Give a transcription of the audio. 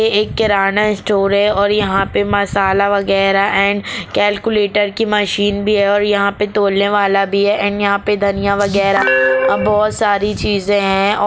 ये एक किराना स्टोर है और यहाँ पे मसाला वागेरह एण्ड कैलक्यूलेटर की मशीन भी है और यहाँ पे तोलने वाला भी है एण्ड यहाँ पे धनिया वागेरह बोहोत सारी चीज़े है।